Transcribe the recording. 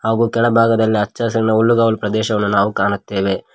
ಹಾಗೂಗು ತೆಳ ಭಾಗದಲ್ಲಿ ಹಚ್ಚ ಹಸಿರಿನ ಹುಲ್ಲುಗವಾಲು ಪ್ರದೇಶವನ್ನು ನಾವು ಕಾಣುತ್ತೇವೆ.